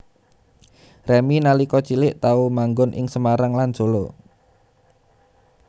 Remy nalika cilik tau manggon ing Semarang lan Solo